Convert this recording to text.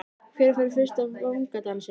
Hver fær fyrsta vangadansinn?